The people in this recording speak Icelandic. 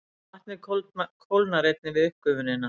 Vatnið kólnar einnig við uppgufunina.